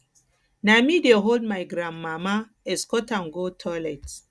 na me dey hold my grandmama escort am go toilet